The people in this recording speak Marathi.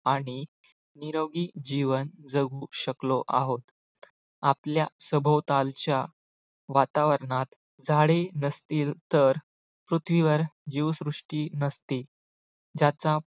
आणि निरोगी जीवन जगू शकलो आहोत. आपल्या सभोवतालच्या वातावरणात झाडे नसतील तर पृथ्वीवर जीवसृष्टी नसतील ज्याचा